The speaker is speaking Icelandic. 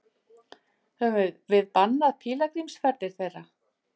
Höfum við bannað pílagrímsferðir þeirra?